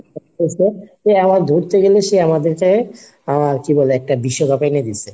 আমার ধরতে গেলে সে আমাদেরকে আহ কি বলে একটা বিশ্বকাপ এনে দিছে।